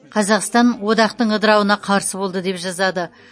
қазақстан одақтың ыдырауына қарсы болды деп жазады